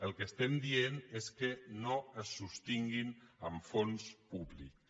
el que estem dient és que no es sostinguin amb fons públics